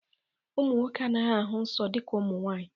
Ụmụ nwoke anaghị ahụ nsọ dịka ụmụ nwanyị